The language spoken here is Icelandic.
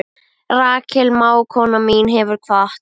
Rakel mágkona mín hefur kvatt.